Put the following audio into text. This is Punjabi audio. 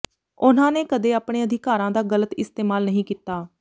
ਉਨ੍ਹਾਂ ਨੇ ਕਦੇ ਆਪਣੇ ਅਧਿਕਾਰਾਂ ਦਾ ਗ਼ਲਤ ਇਸਤੇਮਾਲ ਨਹੀਂ ਕੀਤਾ